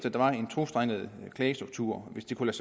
at der var en tostrenget klagestruktur hvis det kunne